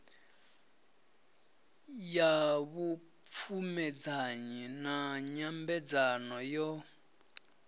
ya vhupfumedzanyi na nyambedzano yo